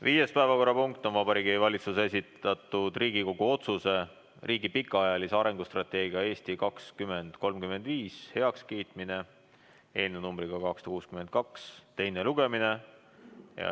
Viies päevakorrapunkt on Vabariigi Valitsuse esitatud Riigikogu otsuse "Riigi pikaajalise arengustrateegia "Eesti 2035" heakskiitmine" eelnõu 262 teine lugemine.